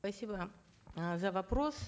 спасибо э за вопрос